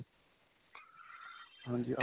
ਹਾਂਜੀ.